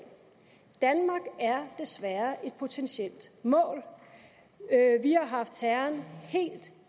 danmark er desværre et potentielt mål vi har haft terroren helt